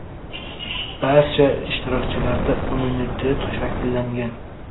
Barcha ishtirokchilarda immunitet shakllangan.